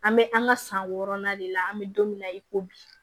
An bɛ an ka san wɔɔrɔnan de la an be don min na i ko bi